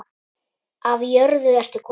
Af jörðu ertu kominn.